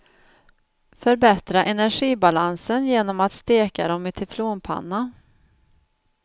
Förbättra energibalansen genom att steka dem i teflonpanna.